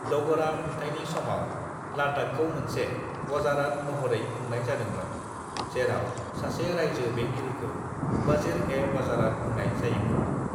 "डगरा खुंथायनि समाव लद्दाखखौ मोनसे वजारात महरै खुंनाय जादोंमोन, जेराव सासे रायजो बेंगिरिखौ वजिर-ए-वजारात बुंनाय जायोमोन।"